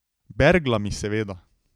Berglami, seveda.